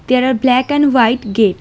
There are black and white gate.